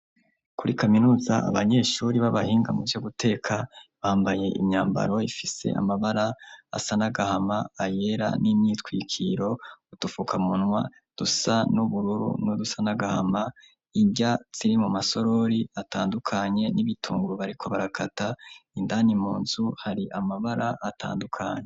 Kuri kaminuza, abanyeshuri b'abahinga mu vyo guteka bambaye imyambaro ifise amabara asa 'nagahama ayera n'imyitwikiro utufuka muntwa dusa n'ubururu n'udusanagahama ibya tsiri mu masorori atandukanye n'ibitungurubariko barakata indani munzu hari amabara atandukanye.